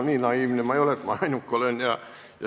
Ei, nii naiivne ma ei ole, et arvaksin, et ma ainuke olin.